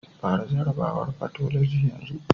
Fara jarrabawar fathology yanzu.